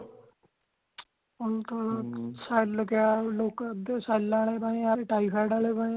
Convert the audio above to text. ਹੁਣ ਤਾ cell ਕਯਾ ਸੱਲ੍ਹਾ ਆਲੇ ਪਏ ਆ typhoid ਆਲੇ ਪਏ ਆ